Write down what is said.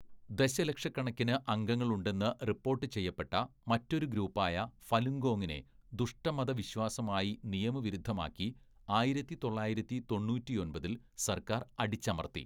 "ദശലക്ഷക്കണക്കിന് അംഗങ്ങൾ ഉണ്ടെന്ന് റിപ്പോർട്ട് ചെയ്യപ്പെട്ട മറ്റൊരു ഗ്രൂപ്പായ ഫലുങ്കോങ്ങിനെ ദുഷ്ട മതവിശ്വാസം ആയി നിയമവിരുദ്ധമാക്കി, ആയിരത്തി തൊള്ളായിരത്തി തൊണ്ണൂറ്റിയൊമ്പതില്‍ സര്‍ക്കാര്‍ അടിച്ചമര്‍ത്തി. "